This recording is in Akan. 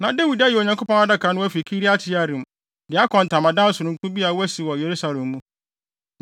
Na Dawid ayi Onyankopɔn Adaka no afi Kiriat-Yearim de akɔ ntamadan sononko bi a wasi wɔ Yerusalem mu.